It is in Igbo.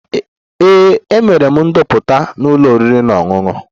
Ee, emere m ndoputa na ụlọ oriri na ọṅụṅụ